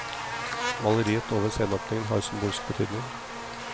Maleriet over sceneåpningen har symbolsk betydning.